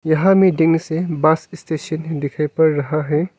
यहां में डींग से बस स्टेशन दिखाई पड़ रहा हैं।